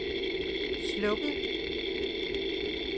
slukket